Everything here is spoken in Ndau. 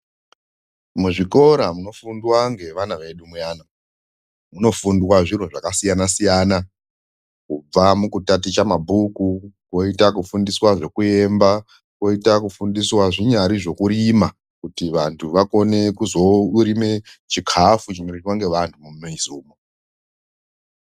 Muzvikora munofundwa ngevana vedu muyana, munofundwa zviro zvakasiyana-siyana, kubva mukutaticha mabhuku, koita kufundiswa zvekuemba, koita kufundiswa zvinyari zvekurima, kuti vantu vakone kuzorime chikafu chinoryiwa ngevantu mumizi umo.